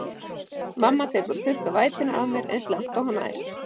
Mamma tekur að þurrka vætuna af mér eins langt og hún nær.